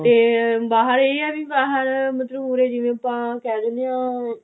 ਤੇ ਬਾਹਰ ਇਹ ਹੈ ਵੀ ਬਾਹਰ ਉਰੇ ਜਿਵੇਂ ਆਪਾਂ ਕਿਹ ਦਿੰਨੇ ਆ